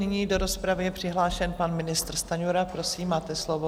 Nyní do rozpravy je přihlášen pan ministr Stanjura, prosím, máte slovo.